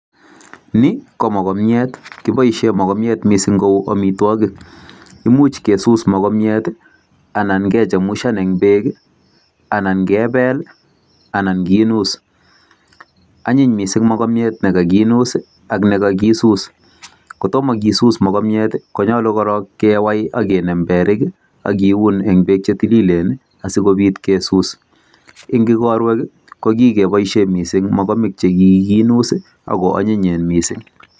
NI ko mogobjat kiboisien mogobjat mising kou amitwogik. Imuch kesuus mogobjat anan kechemuchan en beek, anan kebel anan kinuus. Anyiny mising mogobjat ne kaginuus ak ne kagisuus. Ko tomo kisuus mogobjat ko nyolu korong kewai ak kinem berik ak kiun en beek che tililen asikobit kesuus. Eng igorwek ko kigiboishen mising mogobek che kiginuus ago onyinyen mising.